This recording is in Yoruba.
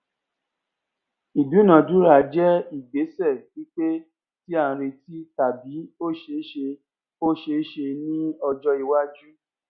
ìdúnadúrà jẹ ìgbésẹ pípé tí a retí tàbí ó ṣeé ṣe ó ṣeé ṣe ní ọjọ iwájú